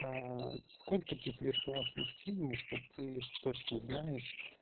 сколько ты флиртовал с мужчинами что ты точно знаешь